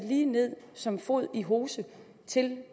som fod i hose til